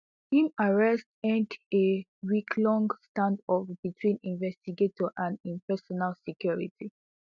im arrest end a weeklong standoff between investigators and im personal security